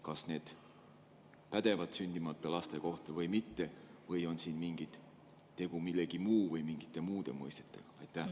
Kas need pädevad sündimata laste kohta või mitte või on siin tegu millegi muuga, mingite muude mõistetega?